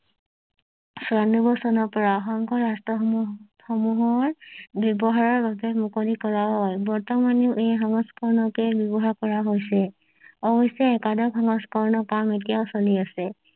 ছিয়ানব্বৈ চনৰ পৰা সংঘৰ ৰাষ্ট্ৰ সমূহ সমূহৰ ব্যৱহাৰৰ বাবে মুকলি কৰা হয় বৰ্তমানেও ই সংস্কাৰণকে ব্যৱহাৰ কৰা হৈছে অৱশ্য একাদশ সংস্কৰণৰ কাম এতিয়াও চলি আছে